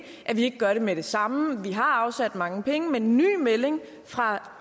vi ikke gør det med det samme vi har afsat mange penge men den nye melding fra